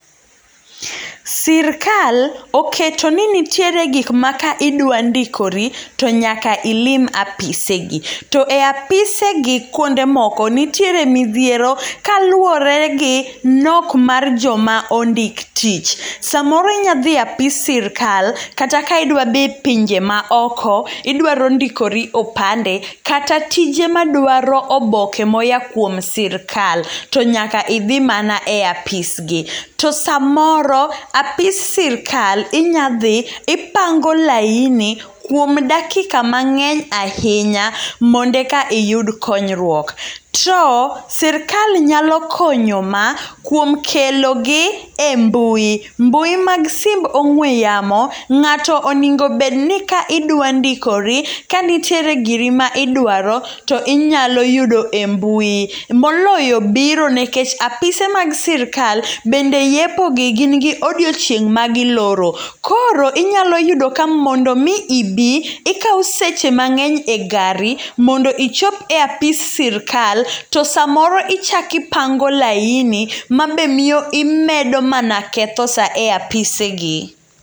Sirkal oketoni nitiere gikma ka idwa ndikori to nyaka ilim apisegi. To e apisegi kuonde moko nitiere midhiero kaluore gi nok mar joma ondik tich. Samoro inyadhie apis sirkal kata ka idwa dhi pinje ma oko, idwaro ndikori opande, kata tije madwaro oboke moya kuom sirkal. To nyaka idhi mana e apisgi. To samoro, apis sirkal inya dhi ipango laini kuom dakika mang'eny ahinya mondo eka iyud konyruok. To sirkal nyalo konyo ma kuom kelo gi e mbui. Mbui mag simb ong'we yamo, ng'ato oningo bedni ka idwa ndikori, ka nitiere giri ma idwaro to inyalo yudo e mbui. Moloyo biro, nikech apise mag sirkal bende yepogi gin gi odiochieng' ma giloro. Koro inyalo yudo ka mondomi ibi ikao seche mang'eny e gari mondo ichop e apis sirkal, to samoro ichak ipango laini, ma be miyo imedo mana ketho saa e apise gi.